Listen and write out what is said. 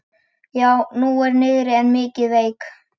Jú, hún er niðri en mikið veik.